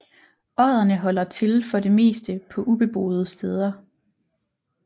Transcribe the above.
Odderne holder til for det meste på ubeboede steder